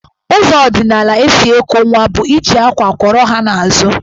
Ụzọ ọdịnala e si eku nwa bụ iji àkwá kwọrọ ha n'azụ.